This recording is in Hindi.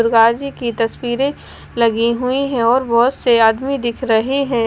गाजी की तस्वीरें लगी हुई हैं और बहुत से आदमी दिख रहे हैं।